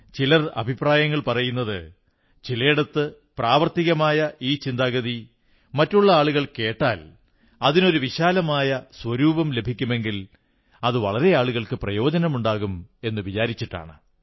ചിലർ അഭിപ്രായങ്ങൾ പറയുന്നത് ചിലയിടത്ത് പ്രാവർത്തികമായ ഈ ചിന്താഗതി മറ്റുള്ള ആളുകൾ കേട്ടാൽ അതിനൊരു വിശാലമായ സ്വരൂപം ലഭിക്കുമെങ്കിൽ അത് വളരെയേറെയാളുകൾക്ക് പ്രയോജനമുണ്ടാകും എന്നു വിചാരിച്ചിട്ടാണ്